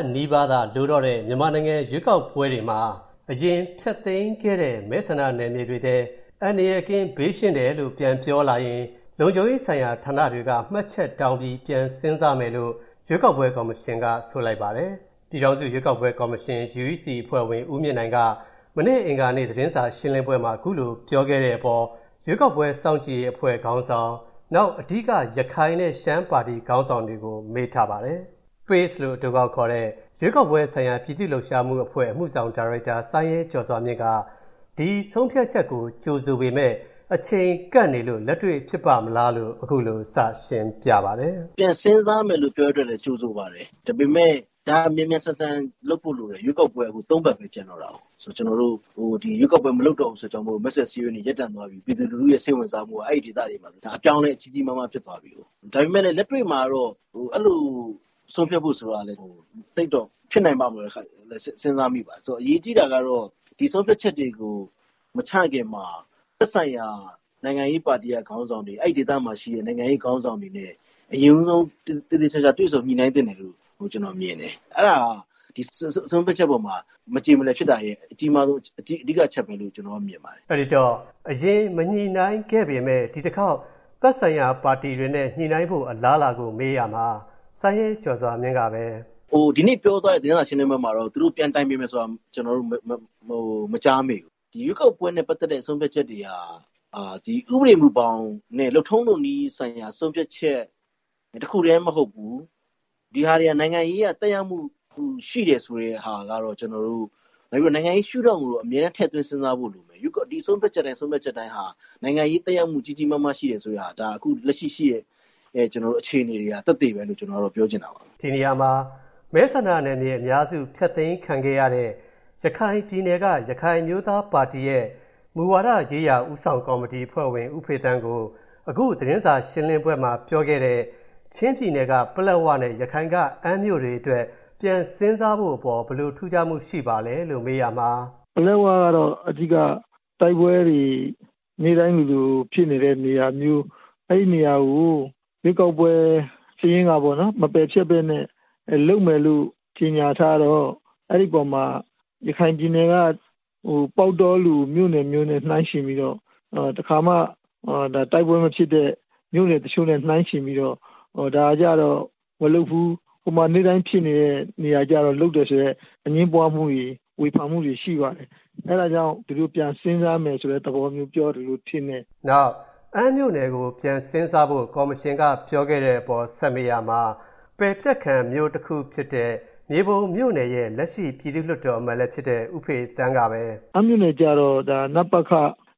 တ်နီးပါးသာလိုတော့တဲ့ မြန်မာနိုင်ငံရွေးကောက်ပွဲတွေမှာ အရင်ဖျက်သိမ်းခဲ့တဲ့ မဲဆန္ဒနယ်မြေတွေထဲ၊ အန္တရာယ်ကင်း၊ ဘေးရှင်းတယ်လို့ ပြန်ပြောလာရင် လုံခြုံရေးဆိုင်ရာဌာနတွေက မှတ်ချက်တောင်းပြီး ပြန်စဉ်းစားမယ်လို့ ရွေးကောက်ပွဲကော်မရှင်က ဆိုပါတယ်။ လို့ အတိုကောက်ခေါ်တဲ့ရွေးကောက်ပွဲဆိုင်ရာ ပြည်သူ့လှုပ်ရှားမှု အဖွဲ့ရဲ့ အမှုဆောင်ဒါရိုက်တာ ဦးစိုင်းရဲကျော်စွာမြင့်က ဒီဆုံးဖြတ်ချက်ကို ကြိုဆိုပေမယ့် အချိန်ကပ်နေလို့ လက်တွေ့ဖြစ်ပါ့မလားလို့ အခုလို စရှင်းပြပါတယ်။ “ပြန်စဉ်းစားမယ်လို့ပြောတဲ့အတွက်လည်း ကြိုဆိုပါတယ်။ ဒါပေမယ့် ဒါမြန်မြန်ဆန်ဆန်လုပ်ဖို့လိုတယ် ရွေးကောက်ပွဲက ၃ ပတ်ပဲ ကျန်တော့တယ်။ ရွေးကောက်ပွဲ မလုပ်တော့တဲ့အတွက် မဲဆွယ်စည်းရုံးရေးတွေ ရပ်တန့်သွားပြီ ပြည်သူလူထုရဲ့ စိတ်ဝင်စားမှုက အဲဒီဒေသတွေမှာ အပြောင်းအလဲကြီးကြီးမားမားဖြစ်သွားပြီကို။ ဒါပေမယ့်လည်း လက်တွေ့မှာတော့အဲလိုဆုံးဖြတ်ဖို့ဆိုတာကလည်း ဖြစ်နိုင်ပါ့မလား ဆိုတာလည်း စဉ်းစားမိပါတယ်။ ဆိုတော့ အရေးကြီးတာကတော့ ဒီဆုံးဖြတ်ချက်တွေကို မချခင်မှာ သက်ဆိုင်ရာ နိုင်ငံရေးပါတီက ခေါင်းဆောင်တွေ ၊ အဲဒီဒေသမှာရှိတဲ့ နိုင်ငံရေးခေါင်းဆောင်တွေနဲ့ အရင်ဦးဆုံး သေသေချာချာ တွေ့ဆုံညှိနှိုင်းသင့်တယ်လို့ ကျနော်မြင်တယ်။အဲဒါက ဒီဆုံးဖြတ်ချက်အပေါ်မှာ မကြေမလည်ဖြစ်တာရဲ့ အဓိက အကြီးမားဆုံးအချက်ပဲလို့ မြင်ပါတယ်။” အဲဒီတော့ အရင်မညှိနှိုင်းခဲ့ပေမယ့် ဒီတခေါက် သက်ဆိုင်ရာပါတီတွေနဲ့ ညှိနှိုင်းဖို့အလားအလာကို မေးရာမှာ ဦးစိုင်းရဲကျော်စွာမြင့်က “ဒီနေ့ ပြောသွားတဲ့ သတင်းစာရှင်းလင်းပွဲမှာတော့ သူတို့ ပြန်တိုင်ပင်မယ်ဆိုတာ ကျနော်တို့ မကြားမိဘူး။ ရွေးကောက်ပွဲနဲ့ ပတ်သက်တဲ့ ဆုံးဖြတ်ချက်တွေဟာ ဥပဒေမူဘောင်နဲ့ လုပ်ထုံးလုပ်နည်းဆိုင်ရာ ဆုံးဖြတ်ချက် တခုတည်းမဟုတ်ဘူး ဒါတွေက နိုင်ငံရေးအရ သက်ရောက်မှု ရှိတယ်ဆိုတဲ့ ဟာကတော့ ကျနော်တို့၊ နောက်ပြီးတော့ နိုင်ငံရေးရှု့ထောင့်ကိုတော့ အမြဲထည့်သွင်းစဉ်းစားဖို့လိုမယ် ။ ဒီဆုံးဖြတ်ချက်တိုင်းဟာ နိုင်ငံရေး သက်ရောက်မှု ကြီးကြီးမားမားရှိတယ်ဆိုတဲ့ဟာ ။ ဒါကျတော်တို့ လက်ရှိရှိတဲ့ အခြေအနေက သက်သေပဲလို့ ကျနော်တို့ ပြောချင်ပါတယ်။” ဒီနေရာမှာ မဲဆန္ဒနယ်မြေအများစု ဖျက်သိမ်းခံရတာ ရခိုင်ပြည်နယ်က ရခိုင်အမျိုးသားပါတီရဲ့ မူဝါဒရေးရာ ဦးဆောင်ကော်မတီ အဖွဲ့ဝင် ဦးဖေသန်းကိုအခု သတင်းစာရှင်းလင်းပွဲမှာ ပြောခဲ့တဲ့ ချင်းပြည်နယ်က ပလက်ဝနဲ့ ရခိုင်က အမ်းမြို့တွေအတွက် ပြန်စဉ်းစားဖို့အပေါ် ဘယ်လို ထူးခြားမှု ရှိပါသလဲလို့ မေးရာမှာ “ပလက်ဝကတော့ အဓိက တိုက်ပွဲတွေ နေ့တိုင်းလိုလိုဖြစ်နေတဲ့နေရာမျိုး အဲဒီနေရာကို ရွေးကောက်ပွဲ စာရင်းကနေ မပယ်ပဲနဲ့ လုပ်မယ်လို့ ကြေညာထားတော့ အဲဒီအပေါ်မှာ ရခိုင်ပြည်နယ်က ပေါက်တောလို မြို့နယ်မျိုးနဲ့ နှိုင်းယှဉ်ပြီးတော့ တခါမှ တိုက်ပွဲ မဖြစ်တဲ့ မြို့နယ်တချို့နဲ့ နှိုင်းယှဉ်ပြီးတော့ ဒါကျတော့ မလုပ်ဘူး။ ဟိုမှာ နေ့တိုင်းဖြစ်နေတဲ့ နေရာကျတော့ လုပ်တယ်ဆိုတဲ့ အငြင်းပွားမှုှတွေ ဝေဖန်မှုတွေ ရှိပါတယ်။ အဲဒါကြောင့် ဒီလိုပြန်စဉ်းစားမယ်ဆိုတဲ့ သဘောမျိုးလို့ ကျနော်ထင်တယ်။” နောက် အမ်း မြို့နယ်ကို ပြန်စဉ်းစားဖို့ ကော်မရှင်က ပြောခဲ့တဲ့အပေါ် ဆက်မေးရာမှာ ပယ်ဖျက်ခံ မြို့တခုဖြစ်တဲ့ မြေပုံမြို့နယ်ရဲ့ လက်ရှိ ပြည်သူ့လွှတ်တော်အမတ်လည်းဖြစ်တဲ့ ဦးဖေသန်းက “ အမ်းမြို့နယ်ကျတော့ တကယ့် နပခ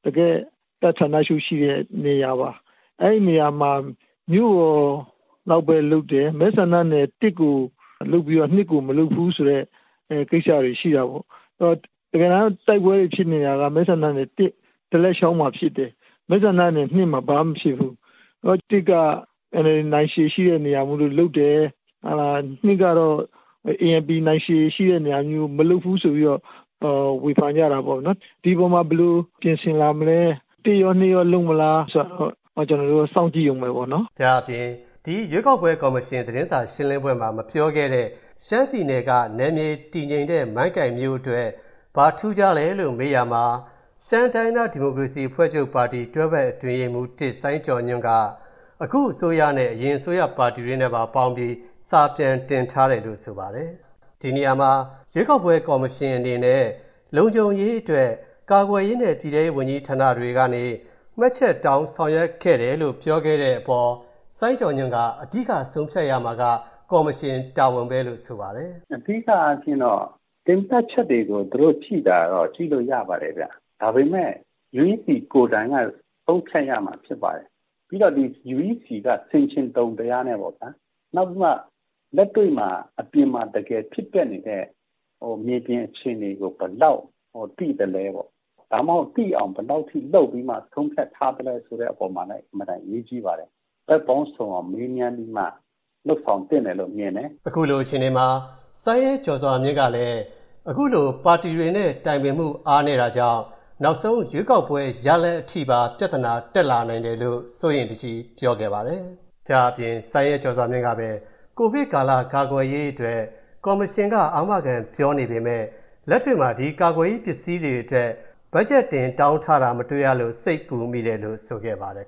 တကယ့် တပ်ဌာနချုပ်ရှိတဲ့ နေရာပါ။ အဲဒီနေရာမှာ မြို့လောက်ပဲ လုပ်တယ် မဲဆန္ဒနယ် ၁ ကို လုပ်ပြီးတော့ ၂ ကို မလုပ်ဘူးဆိုတဲ့ ကိစ္စတွေ ရှိတာပေါ့နော်။ တကယ်တမ်း တိုက်ပွဲတွေ ဖြစ်နေတာကတော့ မဲဆန္ဒနယ် ဒလက်ချောင်းမှာဖြစ်တယ်။ မှာ ဘာမှ မဖြစ်ဘူး။ မဲဆန္ဒနယ် က NLD နိုင်ခြေရှိတဲ့နေရာမို့ လုပ်တယ်။ ကတော့ ANP နိုင်ခြေရှိတဲ့နေရာမို့ မလုပ်ဘူးဆိုပြီးတော့ ဝေဖန်ကြတာပေါ့နော်။ ဒီအပေါ်မှာ ဘယ်လိုပြင်ဆင်မလဲ ၁ ရော ၂ ရော လုပ်မလား ဆိုတာကိုတော့ ကျနော်တို့ စောင့်ကြည့်ဦးမယ်ပေါ့နော်။” ဒါ့အပြင် ဒီရွေးကောက်ပွဲ ကော်မရှင် သတင်းစာရှင်းလင်းပွဲမှာ မပြောခဲ့တဲ့ ရှမ်းပြည်နယ်က နယ်မြေ တည်ငြိမ်တဲ့ မိုင်းကိုင်မြို့နယ် အတွက် ဘာထူးခြားလဲလို့မေးရာမှာ ရှမ်းတိုင်းရင်းသား ဒီမိုကရေစီအဖွဲ့ချုပ်ပါတီဝင် တွဲဖက်အတွင်းရေးမှူး စိုင်းကျော်ညွှန့်က အခုအစိုးရနဲ့ အရင်အစိုးရ ပါတီတွေနဲ့ ပေါင်းပြီး စာပြန်တင်ထားတယ်လို့ ဆိုပါတယ်။ ဒီနေရာမှာ ရွေးကောက်ပွဲ ကော်မရှင်အနေနဲ့ လုံခြုံရေးအတွက် ကာကွယ်ရေးနဲ့ ပြည်ထဲရေးဝန်ကြီး ဌာနတွေကနေ မှတ်ချက်တောင်း ဆောင်ရွက်ခဲ့တယ်လို့ ပြောခဲ့တဲ့အပေါ် စိုင်းကျော်ညွှန့်က အဓိက ဆုံးဖြတ်ရမှာက ကော်မရှင်တာဝန်ပဲလို့ ဆိုပါတယ်။ “အဓိကအားဖြင့်တော့ သုံးသပ်ချက်တွေကို ကြည့်ရင်တော့ ကြည့်လို့ရပါတယ်ခင်ဗျ။ ဒါပေမယ့် UEC ကိုယ်တိုင်က ဆုံးဖြတ်ရမှာ ဖြစ်ပါတယ်။ UEC က ဆင်ချင်တုံ တရားနဲ့ပေါ့ဗျာ ၊ နောက်လက်တွေ့ အပြင်မှာ တကယ်ဖြစ်ပျက်နေတဲ့ မြေပြင်အခြေအနေကို ဘယ်လောက်သိသလဲပေါ့ဗျာ ၊ ဒါမှမဟုတ် သိအောင် ဘယ်လောက်အထိလုပ်ပြီးမှ ဆုံးဖြတ်ထားသလဲ ဆိုတဲ့အပေါ်မှာလည်း အင်မတန်အရေးကြီးပါတယ်။ ဘက်ပေါင်းစုံမေးမြန်းပြီးမှ လုပ်ဆောင်သင့်တယ်လို့ မြင်ပါတယ်။” အခုလိုအခြေအနေမှာ စိုင်းရဲကျော်စွာမြင့်ကလည်း အခုလို ပါတီတွေနဲ့ တိုင်ပင်မှု အားနည်းတာကြောင့် နောက်ဆုံးရွေးကောက်ပွဲ ရလဒ်အထိပါ ပြဿနာ တက်လာနိုင်တယ်လို့ စိုးရိမ်တကြီး ပြောခဲ့ပါတယ်။ ဒါ့အပြင် စိုင်းရဲကျော်စွာမြင့်က COVID ကာလ ကာကွယ်ရေးအတွက် ကော်မရှင်က အာမခံပြောနေပေမယ့် လက်တွေ့မှာ ဒီကာကွယ်ရေး ပစ္စည်းတွေအတွက် ဘက်ဂျက်တင် တောင်းထားတာ မတွေ့ရလို့ စိတ်ပူမိတယ်လို့ ဆိုခဲ့ပါတယ်